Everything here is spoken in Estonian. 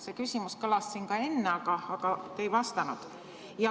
See küsimus kõlas siin ka enne, aga te ei vastanud.